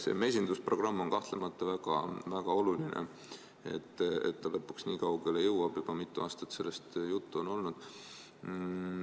See mesindusprogramm on kahtlemata väga oluline, et ta lõpuks nii kaugele jõuab – juba mitu aastat on sellest juttu olnud.